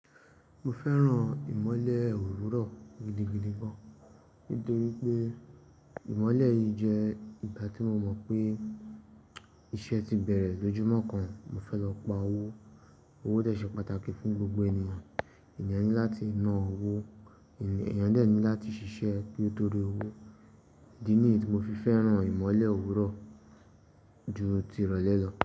Mo fẹ́ràn ìmọ́lẹ̀ òwúrọ̀ gidigidi gan, nítorí pé ìmọ́lẹ̀ yìí jẹ́ ìgbà tí mo mọ̀ pé iṣẹ́ ti bẹ̀rẹ̀ lójúmọ́ kan, mo fẹ́ lọ pa owó. Owó dẹ̀ ṣe pàtàkì fún gbogbo ènìyàn. Èeyàn ní láti ná owó, èeyàn dè ní láti ṣiṣẹ́ ní tó rí owó. Idi ni yí tí mo fi fẹ́ràn ìmọ́lẹ̀ òwúrọ̀ ju tirọ̀ lẹ́ lọ.